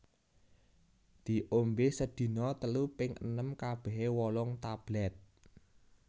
Diombé sedina telu ping enem kabehe wolung tablèt